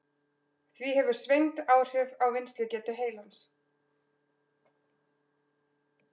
Því hefur svengd áhrif á vinnslugetu heilans.